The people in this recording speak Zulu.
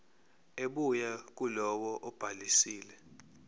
ebuya kulowo obhalisile